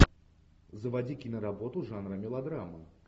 заводи киноработу жанра мелодрама